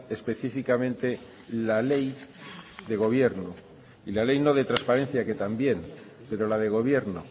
específicamente la ley de gobierno y la ley no de transparencia que también pero la de gobierno